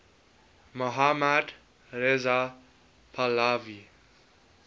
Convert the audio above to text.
mohammad reza pahlavi